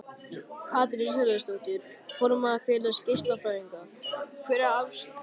Katrín Sigurðardóttir, formaður Félags geislafræðinga: Hver er afstaða ríkisins?